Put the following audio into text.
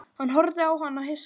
Hann horfði á hana hissa.